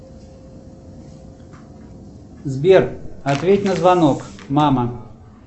сбер ответь на звонок мама